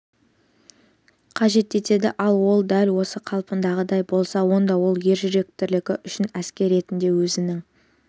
қажет етеді ал ол дәл осы қалпындағыдай болса онда ол ержүректілігі үшін әскер ретінде өзінің